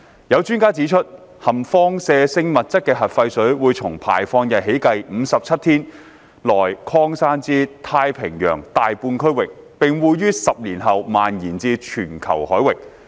有專家指出，含放射性物質的核廢水會從排放日起計57天內擴散至太平洋大半區域，並會於10年後蔓延至全球海域。